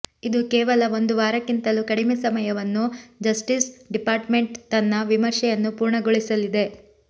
ಇದು ಕೇವಲ ಒಂದು ವಾರಕ್ಕಿಂತಲೂ ಕಡಿಮೆ ಸಮಯವನ್ನು ಜಸ್ಟೀಸ್ ಡಿಪಾರ್ಟ್ಮೆಂಟ್ ತನ್ನ ವಿಮರ್ಶೆಯನ್ನು ಪೂರ್ಣಗೊಳಿಸಲಿದೆ